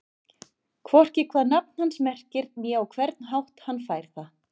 Hvorki hvað nafn hans merkir né á hvern hátt hann fær það.